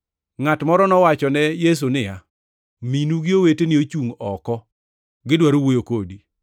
Ngʼat moro nowachone Yesu niya, “Minu gi oweteni ochungʼ oko gidwaro wuoyo kodi.”